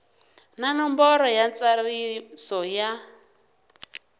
na nomboro ya ntsariso ya